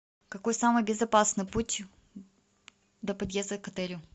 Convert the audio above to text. какой самый безопасный путь до подъезда к отелю